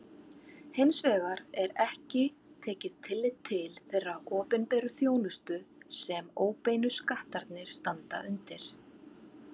Hins vegar er ekki tekið tillit til þeirrar opinberu þjónustu sem óbeinu skattarnir standa undir.